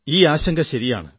ഈ ആശങ്ക ശരിയാണ്